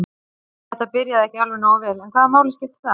Þetta byrjaði ekki alveg nógu vel en hvaða máli skiptir það?